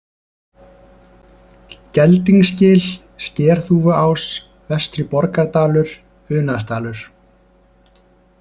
Geldingsgil, Skerþúfuás, Vestri-Borgardalur, Unaðsdalur